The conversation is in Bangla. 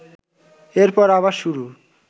এরপর আবার শুরু